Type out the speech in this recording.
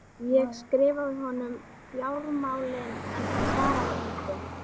Ég skrifaði honum um fjármálin en hann svaraði engu.